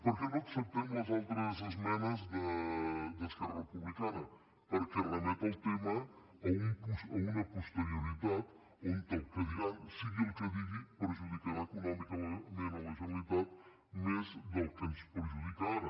per què no acceptem les altres esmenes d’esquerra republicana perquè remet el tema a una posterioritat on el que diran sigui el que sigui perjudicarà econòmicament la generalitat més del que ens perjudica ara